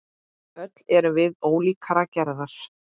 Öll erum við ólíkrar gerðar.